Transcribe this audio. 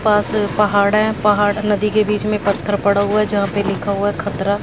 पास पहाड़ है पहाड़ नदी के बीच में पत्थर पड़ा हुआ है जहां पे लिखा हुआ खतरा--